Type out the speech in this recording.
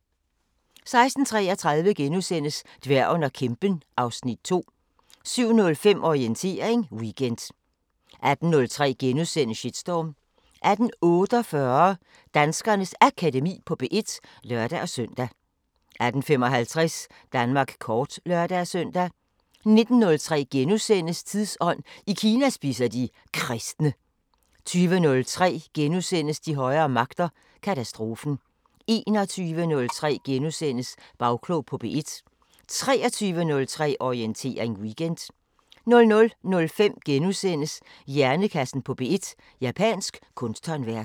16:33: Dværgen og kæmpen (Afs. 2)* 17:05: Orientering Weekend 18:03: Shitstorm * 18:48: Danskernes Akademi på P1 (lør-søn) 18:55: Danmark kort (lør-søn) 19:03: Tidsånd: I Kina spiser de kristne * 20:03: De højere magter: Katastrofen * 21:03: Bagklog på P1 * 23:03: Orientering Weekend 00:05: Hjernekassen på P1: Japansk kunsthåndværk *